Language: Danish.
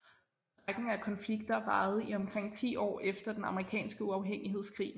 Rækken af konflikter varede i omkring ti år efter den amerikanske uafhængighedskrig